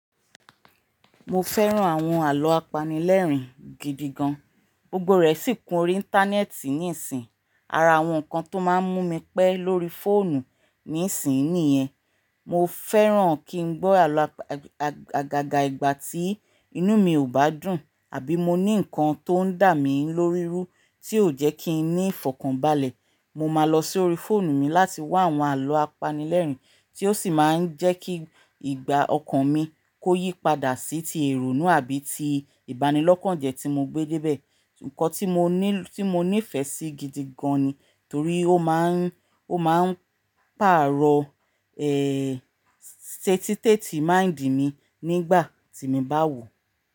Mo fẹ́ran àwọn àlọ́ apanilẹ́rìn gidi gan. Gbogbo rẹ sì kún orí íńtánẹ́ẹ̀tì níìsín. Ara àwọn nǹkan tó máa ń mú mi pẹ́ lórí fóònù níìsínyi nìyẹn. Mo fẹ́ran kí n gbọ́ àlọ́ àgàgà ìgbà tí inú mi ò bá dùn àbí mo ní nǹkan tó ń dà mí lóri rú tí ó jẹ́ kí n ní ìfọ̀kànbalẹ̀. Mo máa lọ sórí fóònù mi láti wá àwọn àlọ́ apanilẹ́rìn tí ó sì máa ń jẹ́ kí ìgbà ọkàn mi kó yípadà sí ti èrònu àbí ti ìbanilọ́kànjẹ́ tí mo gbé débẹ̀. Nǹkan tí mo níí, tí mo nífẹ̀ẹ́ sí gidi gan ni torí ó máa ń, ó máa ń pàrọ̀ ẹ́ẹ́ state teti mi nígbà tí mo bá wò ó.